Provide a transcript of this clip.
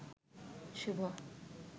শুভ